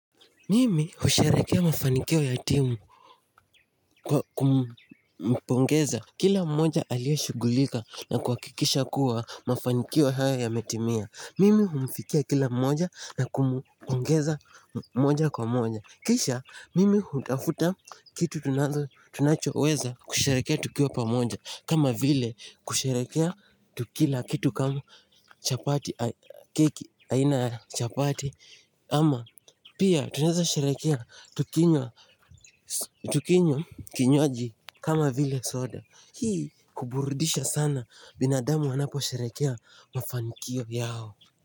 Mimi husherehekea mafanikio ya timu kumpongeza kila mmoja aliye shughulika na kuhakikisha kuwa mafanikio haya yametimia Mimi humfikia kila mmoja na kumpongeza moja kwa moja Kisha mimi hutafuta kitu tunachoweza kusherehekea tukiwa pamoja kama vile kusherehekea tukila kitu kama keki aina ya chapati ama pia tunaweza sherehekea tukinywa kinywaji kama vile soda Hii kuburudisha sana binadamu wanapo sherehekea mafankio yao.